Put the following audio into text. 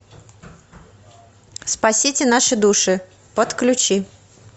спасите наши души подключи